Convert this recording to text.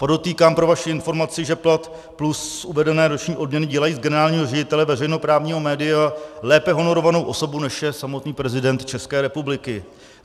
Podotýkám pro vaši informaci, že plat plus uvedené roční odměny dělají z generálního ředitele veřejnoprávního media lépe honorovanou osobu, než je samotný prezident České republiky.